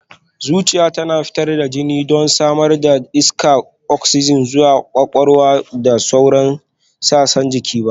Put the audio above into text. Zuciya tana fitar da jini don samar da iskar oksijin zuwa kwakwalwa da sauran sassan jiki